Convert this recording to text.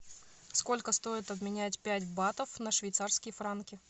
сколько стоит обменять пять батов на швейцарские франки